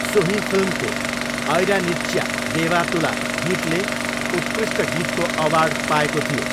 सोही फिल्मको 'ऐरानिच्या देवा तुला' गीतले उत्कृष्ट गीतको अवार्ड पाएको थियो।